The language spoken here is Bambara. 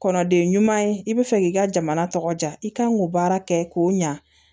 Kɔnɔ de ɲuman ye i bɛ fɛ k'i ka jamana tɔgɔ diya i kan k'o baara kɛ k'o ɲa